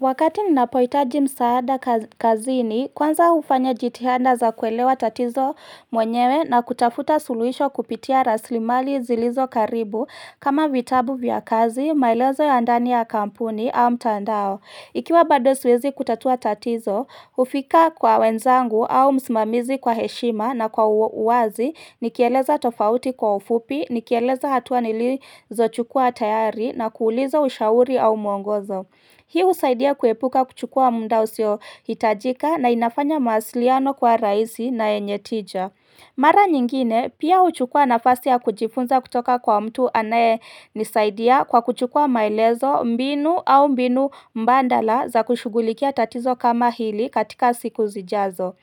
Wakati ninapohitaji msaada kazini, kwanza ufanya jitihanda za kuelewa tatizo mwenyewe na kutafuta suluisho kupitia raslimali zilizo karibu kama vitabu vya kazi, maelezo ya ndani ya kampuni au mtandao. Ikiwa bado siwezi kutatua tatizo, hufika kwa wenzangu au msmamizi kwa heshima na kwa uwazi, nikieleza tofauti kwa ufupi, nikieleza hatua nilizochukua tayari na kuuliza ushauri au mwongozo. Hii husaidia kuepuka kuchukua munda usio hitajika na inafanya mawasiliano kuwa raisi na yenye tija. Mara nyingine, pia huchukua nafasi ya kujifunza kutoka kwa mtu anayenisaidia kwa kuchukua maelezo mbinu au mbinu mbandala za kushugulikia tatizo kama hili katika siku zijazo.